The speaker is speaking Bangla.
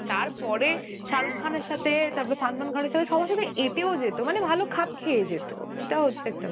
তারপরে শারুখ খান এর সাথে , তারপর সালমান খান এর সাথে সবার সাথে এটেও যেতো মানে ভালো খাপ খেয়ে যেত. ওটা হচ্ছে একটা